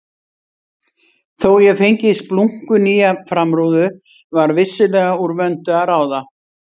Þó ég fengi splunkunýja framrúðu var vissulega úr vöndu að ráða.